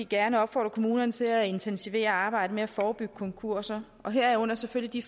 gerne opfordre kommunerne til at intensivere arbejdet med at forebygge konkurser herunder selvfølgelig